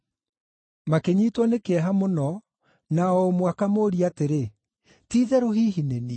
Makĩnyiitwo nĩ kĩeha mũno, na o ũmwe akamũũria atĩrĩ, “Ti-itherũ hihi nĩ niĩ?”